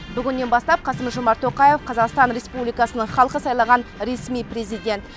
бүгіннен бастап қасым жомарт тоқаев қазақстан республикасының халқы сайлаған ресми президент